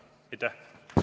Aitäh!